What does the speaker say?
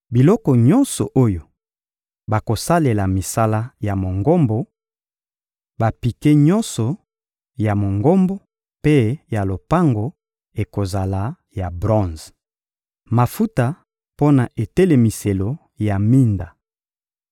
Biloko nyonso oyo bakosalela misala ya Mongombo, bapike nyonso ya Mongombo mpe ya lopango ekozala ya bronze. Mafuta mpo na etelemiselo ya minda